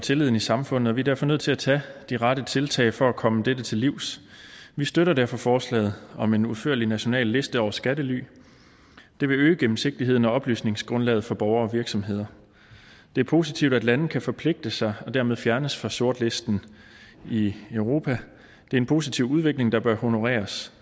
tilliden i samfundet og vi er derfor nødt til at tage de rette tiltag for at komme dette til livs vi støtter derfor forslaget om en udførlig national liste over skattely det vil øge gennemsigtigheden og oplysningsgrundlaget for borgere og virksomheder det er positivt at lande kan forpligte sig og dermed fjernes fra sortlisten i europa det er en positiv udvikling der bør honoreres